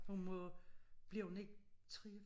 Hun må bliver hun ikke 3